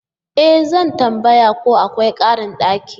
E! Zan tambaya ko akwai karin daki.